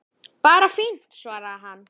Bara fínt- svaraði hann.